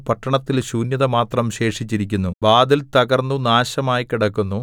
പട്ടണത്തിൽ ശൂന്യത മാത്രം ശേഷിച്ചിരിക്കുന്നു വാതിൽതകർന്നു നാശമായി കിടക്കുന്നു